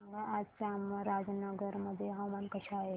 सांगा आज चामराजनगर मध्ये हवामान कसे आहे